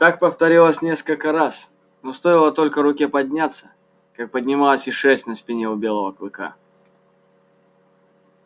так повторилось несколько раз но стоило только руке подняться как поднималась и шерсть на спине у белого клыка